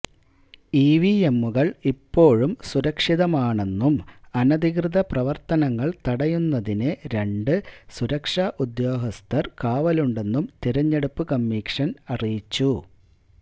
ഇവിഎമ്മുകള് ഇപ്പോഴും സുരക്ഷിതമാണെന്നും അനധികൃതപ്രവര്ത്തനങ്ങള് തടയുന്നതിന് രണ്ട് സുരക്ഷാ ഉദ്യോഗസ്ഥര് കാവലുണ്ടെന്നും തിരഞ്ഞെടുപ്പ് കമ്മീഷന് അറിയിച്ചു